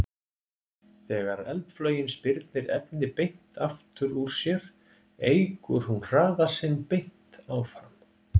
Þegar eldflaugin spyrnir efni beint aftur úr sér eykur hún hraða sinn beint áfram.